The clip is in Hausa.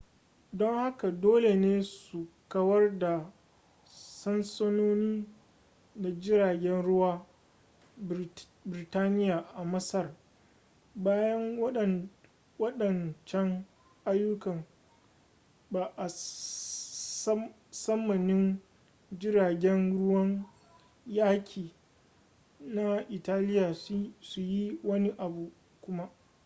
don hakan dole ne su kawar da sansanoni da jiragen ruwan birtaniya a masar bayan waɗancan ayyukan ba a tsammanin jiragen ruwan yaƙi na italiya su yi wani abu kuma